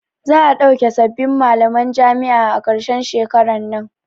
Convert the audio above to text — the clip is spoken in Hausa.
Za'a ɗauki sabbin malaman jami'a a karshen shekaran nan.